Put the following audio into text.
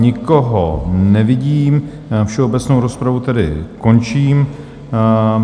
Nikoho nevidím, všeobecnou rozpravu tedy končím.